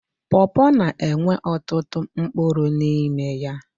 Pọọpọọ na-enwe ọtụtụ mpkụrụ n'ime ya.